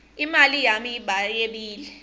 imali yami bayebile